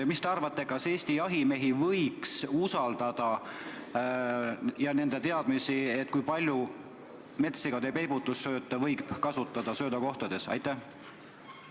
Mis te arvate, kas Eesti jahimehi ja nende teadmisi võiks usaldada, et kui palju metssigade peibutussööta võib söödakohtades kasutada?